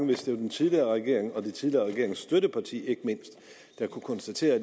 hvis det var den tidligere regering og den tidligere regerings støtteparti der kunne konstatere at